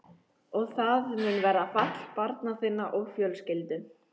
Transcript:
Og það mun verða fall barna þinna og fjölskyldu.